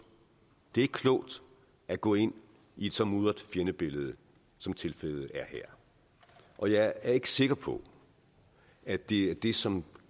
det er ikke klogt at gå ind i et så mudret fjendebillede som tilfældet er her og jeg er ikke sikker på at det er det som